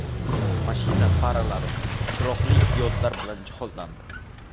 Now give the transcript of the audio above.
Mashina faralari chiroqli diodlar bilan jihozlandi.